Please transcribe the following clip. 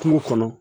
Kungo kɔnɔ